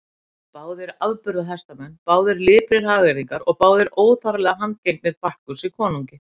Báðir afburða hestamenn, báðir liprir hagyrðingar og báðir óþarflega handgengnir Bakkusi konungi.